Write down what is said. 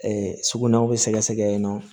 sugunɛw bɛ sɛgɛsɛgɛ yen nɔ